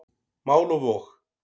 Mál og vog.